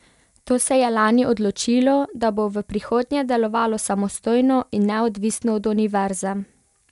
To se je lani odločilo, da bo v prihodnje delovalo samostojno in neodvisno od univerze.